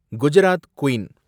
Gujarat queen